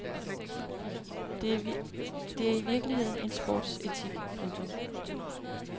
Det er i virkeligheden en sportsetik. punktum